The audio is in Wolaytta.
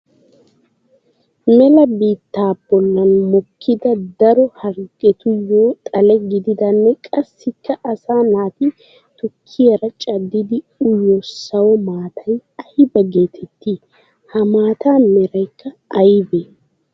Mela biitta bollan mokida daro harggettuyo xale gididanne qassikka asaa naati tukkiyaara caddidi uyiyo sawo maatay aybba geetetti? Ha maata meraykka aybbe?